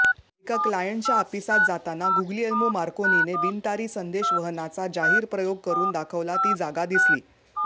एका क्लायंटच्या हापिसात जाताना गुग्लीएल्मो मार्कोनीने बिनतारी संदेशवहनाचा जाहीर प्रयोग करून दाखवला ती जागा दिसली